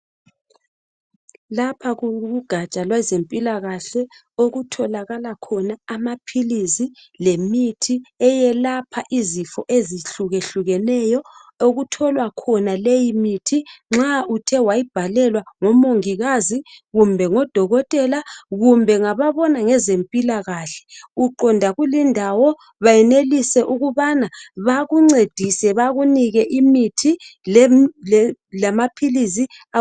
Lapha kukugatsha lwezempilakahle okutholakala khona amaphilisi lemithi eyelapha izifo ezihlukehlukeneyo okutholwa khona leyi mithi nxa uthe wayibhalelwa ngomongikazi, kumbe ngodokotela, kumbe ngababona ngezempilakahle bakulindawo bayenelise ukubana bakuncedise bakunike imithi lamaphilisi.